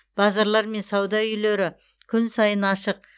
базарлар мен сауда үйлері күн сайын ашық